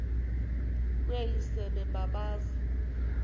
kweli sebe babazi